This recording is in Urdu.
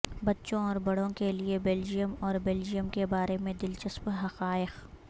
بچوں اور بڑوں کے لئے بیلجیئم اور بیلجیئم کے بارے میں دلچسپ حقائق